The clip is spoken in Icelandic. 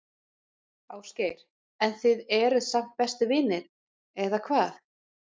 Ásgeir: En þið eruð samt bestu vinir, eða hvað?